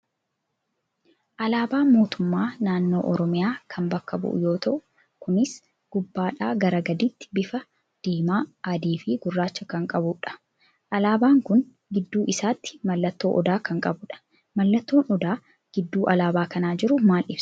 Alaabaa mootummaa naannoo Oromiyaa kan bakka bu'u yoo ta'u Kunis gubbaadhaa gara gadiitti bifa diimaa, adii fi gurraacha kan qabu dha. Alaabaan kun gidduu isaatti mallattoo Odaa kan qabu dha. Mallattoon Odaa gidduu alaabaa kana jiru maal ibsaa ?